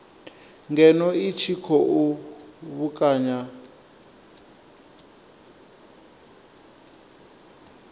ngeno i tshi khou vhekanya